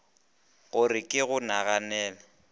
go re ke go naganele